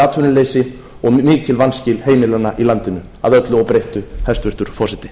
atvinnuleysi og mikil vanskil heimilanna í landinu að öllu óbreyttu hæstvirtur forseti